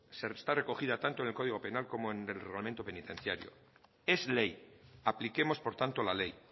está recogida tanto en el código penal como en el reglamento penitenciario es ley apliquemos por tanto la ley